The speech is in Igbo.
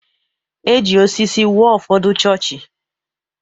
E ji osisi wuo ụfọdụ chọọchị.